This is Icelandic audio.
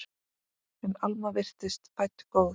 En Alma virtist fædd góð.